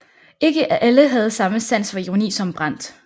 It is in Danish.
Ikke alle havde samme sans for ironi som Brandt